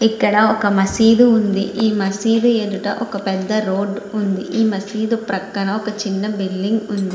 ఇక్కడ ఒక మస్జీద్ ఉన్నది ఈ మస్జీద్ ఎదుట ఒక పెద్ద రోడ్డు ఉన్నది ఈ మస్జీద్ పక్కన ఒక చిన్న బిల్డింగ్ ఉన్నది.